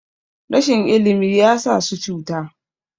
rashin ilimi ya sa su cuta